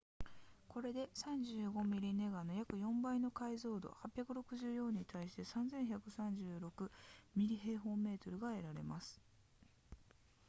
これで35 mm ネガの約4倍の解像度864に対して3136 mm2 が得られます